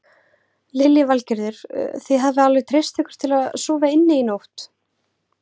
Lillý Valgerður: Þið hafið alveg treyst ykkur til að sofa inni í nótt?